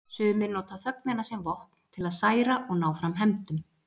Sumir nota þögnina sem vopn, til að særa og ná fram hefndum.